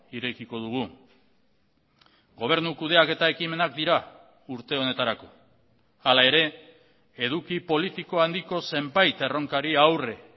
irekiko dugu gobernu kudeaketa ekimenak dira urte honetarako hala ere eduki politiko handiko zenbait erronkari aurre